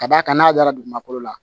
Ka d'a kan n'a dara dugukolo la